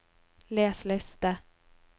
les liste